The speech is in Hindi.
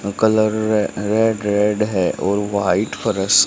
कलर रेड रेड है और व्हाइट फर्श --